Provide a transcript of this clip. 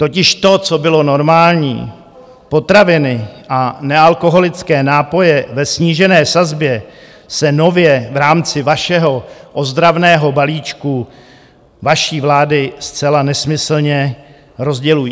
Totiž to, co bylo normální, potraviny a nealkoholické nápoje ve snížené sazbě, se nově v rámci vašeho ozdravného balíčku vaší vlády zcela nesmyslně rozdělují.